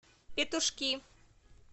петушки